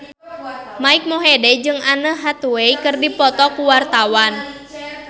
Mike Mohede jeung Anne Hathaway keur dipoto ku wartawan